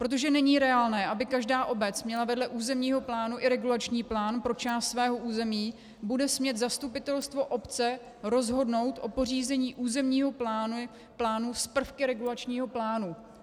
Protože není reálné, aby každá obec měla vedle územního plánu i regulační plán pro část svého území, bude smět zastupitelstvo obce rozhodnout o pořízení územního plánu s prvky regulačního plánu.